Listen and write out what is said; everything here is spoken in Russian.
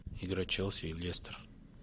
игра челси и лестер